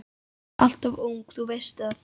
Hún er alltof ung, þú veist það.